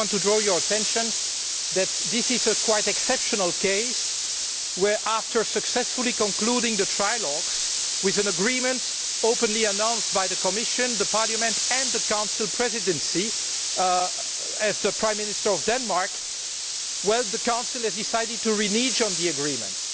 I just want draw your attention to the fact that this is a quite exceptional case where, after successfully concluding the trialogues, with an agreement openly announced by the Commission, Parliament and the Council Presidency in the person of the Prime Minister of Denmark, the Council has decided to renege on the agreement.